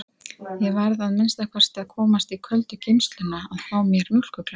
Ég varð að minnsta kosti að komast í köldu geymsluna að fá mér mjólkurglas!